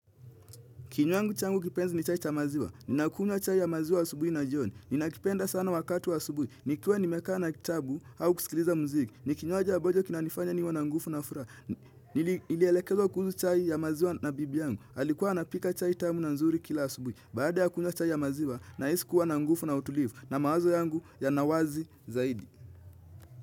Kinyuangu changu kipenzi ni chai cha maziwa. Na kunywa chai ya maziwa asubuhi na jioni. Nina kipenda sana wakatu wa subuhi. Nikiwa nimekaa na kitabu au kusikiliza muziki. Ni kinywaji ambacho kinanifanya niwe na nguvu na furaha. Nilielekezwa kuhusu chai ya maziwa na bibi yangu. Alikuwa napika chai tamu na nzuri kila asubuhi. Baada ya kunywa chai ya maziwa na hisi kuwa na nguvu na utulivu. Na mawazo yangu yanawazi zaidi.